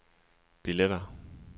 billetter